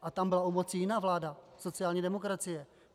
A tam byla u moci jiná vláda - sociální demokracie.